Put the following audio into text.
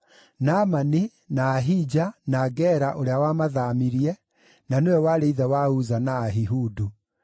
Naamani, na Ahija, na Gera ũrĩa wamathaamirie, na nĩwe warĩ ithe wa Uza na Ahihudu.